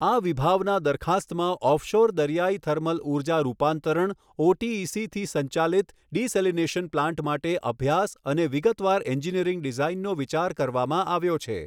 આ વિભાવના દરખાસ્તમાં ઓફશોર દરિયાઈ થર્મલ ઊર્જા રૂપાંતરણ ઓટીઈસીથી સંચાલિત ડેસેલિનેશન પ્લાન્ટ માટે અભ્યાસ અને વિગતવાર એન્જિનીયરિંગ ડિઝાઇનનો વિચાર કરવામાં આવ્યો છે.